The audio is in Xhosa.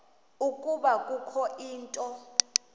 ukuba kukho into